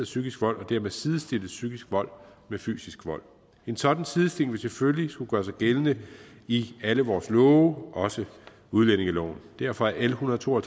psykisk vold og dermed sidestillet psykisk vold med fysisk vold en sådan sidestilling vil selvfølgelig skulle gøre sig gældende i alle vores love også udlændingeloven derfor er l en hundrede og to og